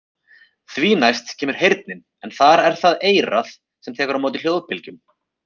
Því næst kemur heyrnin en þar er það eyrað sem tekur á móti hljóðbylgjum.